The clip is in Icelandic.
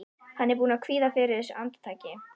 Hann er búinn að kvíða fyrir þessu andartaki.